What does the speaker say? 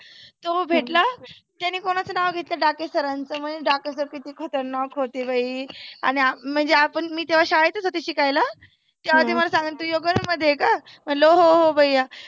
तो भेटला त्यानी कोणाच नाव घेतलं डाके sir च म्हणे डाके sir किती खतरनाक होते बाई. आणि आ म्हणजे आपण मी तेव्हा शाळेतच होते शिकायाला हा तेव्हा ते मला सांगात योगा मध्ये आहे का म्हणलं हो हो भैया.